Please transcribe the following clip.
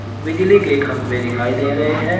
बिजली के खंभे दिखाई दे रहे हैं।